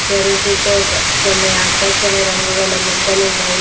చెరువు చుట్టూ ఒక్ కొన్ని ఆకుపచ్చని రంగు గల మొక్కలున్నవి.